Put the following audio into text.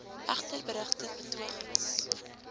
egter berugte betogings